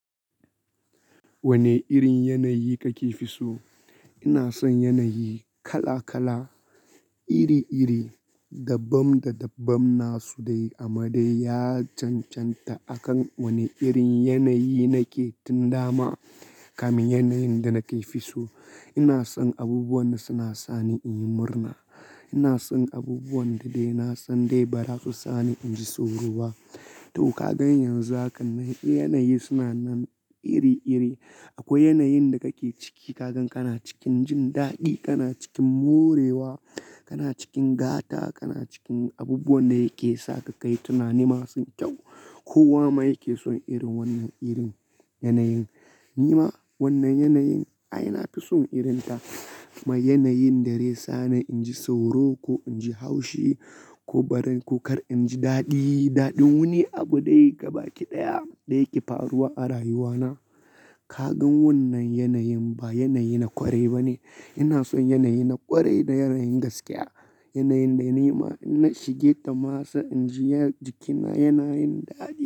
Wane irin yanayi kake fi so? Ina son yanayi kala-kala, iri-iri, dabbam da dabbam na su dai. Amma dai ya cancanta akan wane irin yanayi nake tun dama kame yanayin da nake fi so. Ina son abubuwan da suna sani in yi murna. Ina son abubuwan da dai na san dai ba za su sani in ji sauro ba. To ka gan yanzu haka ne yanayi suna nan iri-iri. Akwai yanayin da kake ciki ka gan kana cikin jin daɗi, kana cikin morewa, kana cikin gata, kana cikin abubuwan da yake sa ka kai tunani masu kyau. Kowa ma yake son irin wannan irin yanayin. Ni ma wannan yanayin ai na fi son irin ta. Mai yanayin da zai sa ni in ji sauro ko in ji haushi ko bari ko kar in ji daɗi. Daɗin wani abu dai gaba ƙi ɗaya da yake faruwa a rayuwa na. Ka gan wannan yanayin ba yanayi na ƙwari ba ne. Ina son yanayi na ƙwarai da yanayin gaskiya. Yanayin da ni ma na shige ta dama sa in ji ya jikina yanayin daɗi.